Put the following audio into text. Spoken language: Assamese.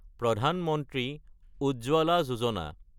প্ৰধান মন্ত্ৰী উজ্জ্বলা যোজনা